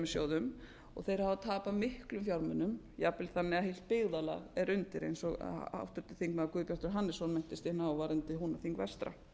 sjóðum og þeir hafa tapað miklum fjármunum jafnvel þannig að heilt byggðarlag er undir eins og háttvirtir þingmenn guðbjartur hannesson minntist inn á varðandi húnaþing vestra